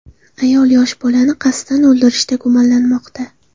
Ayol yosh bolani qasddan o‘ldirishda gumonlanmoqda.